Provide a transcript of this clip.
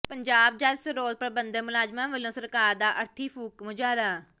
ਪੰਜਾਬ ਜਲ ਸਰੋਤ ਪ੍ਰਬੰਧਨ ਮੁਲਾਜ਼ਮਾਂ ਵਲੋਂ ਸਰਕਾਰ ਦਾ ਅਰਥੀ ਫੂਕ ਮੁਜ਼ਾਹਰਾ